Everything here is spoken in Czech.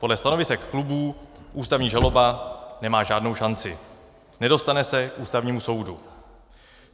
Podle stanovisek klubů ústavní žaloba nemá žádnou šanci, nedostane se k Ústavnímu soudu.